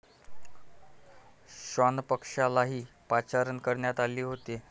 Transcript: श्वानपथकालाही पाचारण करण्यात आले होते.